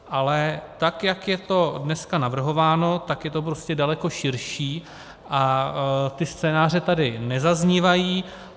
Ale tak jak je to dneska navrhováno, tak je to prostě daleko širší a ty scénáře tady nezaznívají.